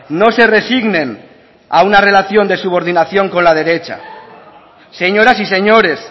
no se resignen a una relación de subordinación con la derecha señoras y señores